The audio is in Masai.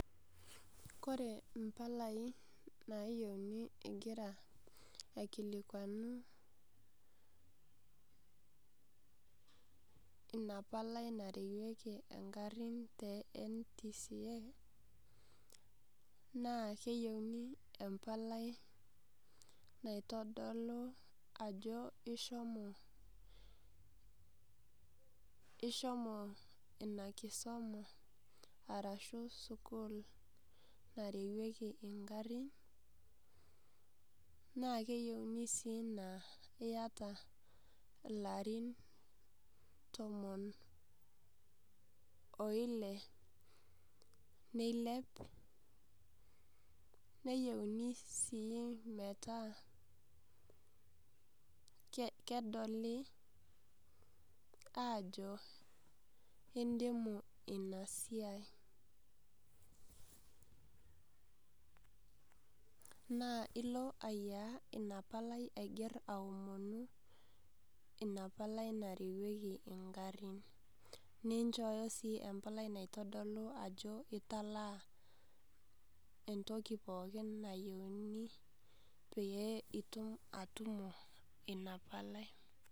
Kore impalai naayiouni ingira aikikwanuni ina palai narewieki ingarin te NTSA, naa keyiuni empalai naitodolu ajo ishomo ina kisoma arashu sukuul narewieki ingarin. Naa keyiuni sii naa iata ilarin tomon o ile neilep, neyouni sii metaa kedoli aajo indimu ina siai. Naa ilo ayiaya ina palai aiger aomonu ina palai narewieki ingarin, ninchooyo sii empalai naitodolu ajo italaa entoki pokin nayieuni pee itilaki atutumo ina palai.